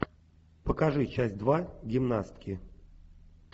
покажи часть два гимнастки